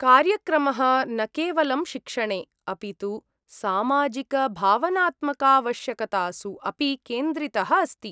कार्यक्रमः न केवलं शिक्षणे, अपि तु सामाजिकभावनात्मकावश्यकतासु अपि केन्द्रितः अस्ति।